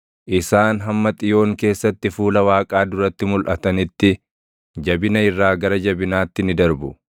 Isaan hamma Xiyoon keessatti fuula Waaqaa duratti mulʼatanitti, jabina irraa gara jabinaatti ni darbu.